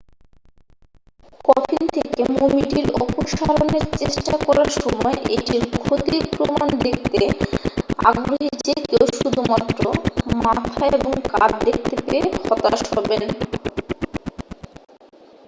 coffin থেকে মমিটির অপসারণের চেষ্টা করার সময় এটির ক্ষতির প্রমাণ দেখতে আগ্রহী যে কেউ শুধুমাত্র মাথা এবং কাঁধ দেখতে পেয়ে হতাশ হবেন